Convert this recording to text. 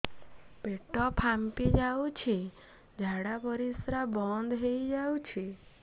ପେଟ ଫାମ୍ପି ଯାଉଛି ଝାଡା ପରିଶ୍ରା ବନ୍ଦ ହେଇ ଯାଉଛି